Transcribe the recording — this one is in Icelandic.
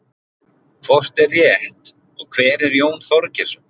Hvort er rétt og hver er Jón Þorgeirsson?